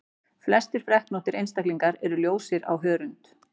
Flestir freknóttir einstaklingar eru ljósir á hörund.